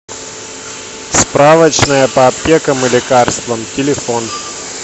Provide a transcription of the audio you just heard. справочная по аптекам и лекарствам телефон